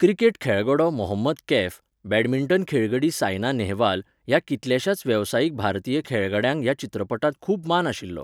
Cricket खेळगडो Mohammad Kaif, badminton खेळगडी सायना नेहवाल ह्या कितल्याशाच वेवसायीक भारतीय खेळगड्यांक ह्या चित्रपटांत खूब मान आशिल्लो.